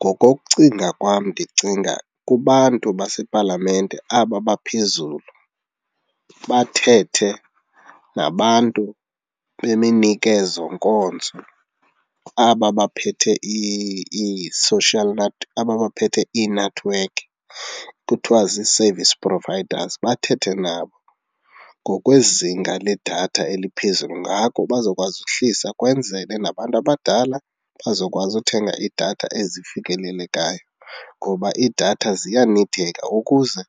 Ngokokucinga kwam ndicinga kubantu basepalamente aba baphezulu bathethe nabantu beminikezonkonzo, aba baphethe ii-social aba baphethe iinethiwekhi kuthiwa zii-service providers, bathethe nabo ngokwezinga ledatha eliphezulu. Ngako bazokwazi uhlisa kwenzele nabantu abadala bazokwazi uthenga idatha ezifikelelekayo ngoba idatha ziyanideka ukuze